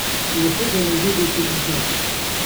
Lepo ga je videti nazaj.